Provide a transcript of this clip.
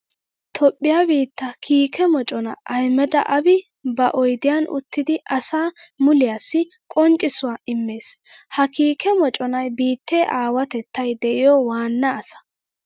Toophphiya biitta kiike mocona Ahmeda Abiy ba oyddiyan uttiddi asa muliyassi qonccissuwa immees. Ha kiike moconay biitte aawatettay de'iyo waana asa.